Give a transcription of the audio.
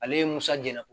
Ale ye musa jɛn